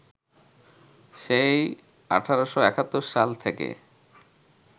সেই ১৮৭১ সাল থেকে